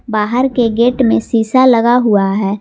बाहर के गेट में शीशा लगा हुआ है।